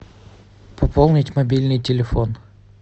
пополнить мобильный телефон